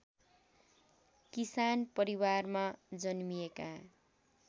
किसान परिवारमा जन्मिएका